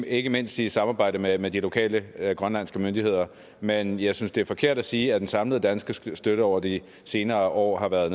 ikke mindst i samarbejde med med de lokale grønlandske myndigheder men jeg synes det er forkert at sige at den samlede danske støtte over de senere år har været